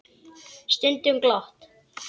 Stundum glott.